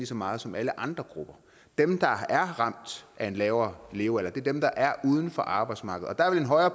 så meget som alle andre grupper dem der er ramt af en lavere levealder er dem der er uden for arbejdsmarkedet